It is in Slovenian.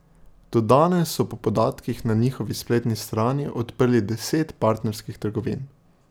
Do danes so po podatkih na njihovi spletni strani odprli deset partnerskih trgovin.